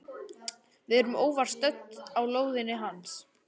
Við erum óvart stödd á lóðinni hans.